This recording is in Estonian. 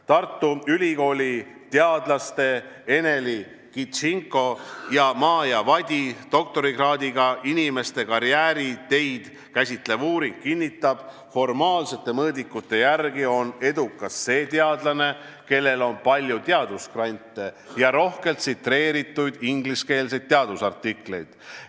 Tartu Ülikooli teadlaste Eneli Kindsiko ja Maaja Vadi doktorikraadiga inimeste karjääriteid käsitlev uuring kinnitab: formaalsete mõõdikute järgi on edukas see teadlane, kellel on palju teadusgrante ja rohkelt tsiteeritud ingliskeelseid teadusartikleid.